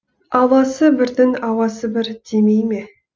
ауласы бірдің ауасы бір демей ме